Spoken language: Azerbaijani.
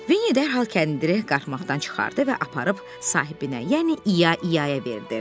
Vinni dərhal kəndiri qatlaqdan çıxardıb aparıb sahibinə, yəni İya-İyaya verdi.